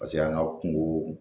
Paseke an ka kungo